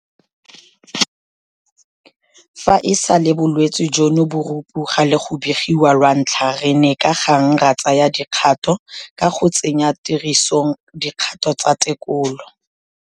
Fa e sale bolwetse jono bo rupoga le go begiwa lwantlha re ne ka gang ra tsaya dikgato ka go tsenya tirisong dikgato tsa tekolo.